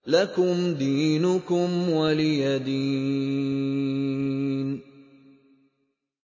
لَكُمْ دِينُكُمْ وَلِيَ دِينِ